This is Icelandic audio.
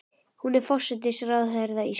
Hún er forsætisráðherra Íslands.